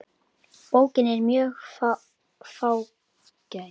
Bókin er mjög fágæt.